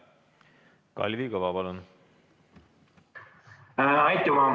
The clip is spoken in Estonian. Kalvi Kõva, palun!